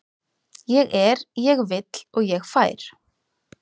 Ég er, ég vill og ég fær.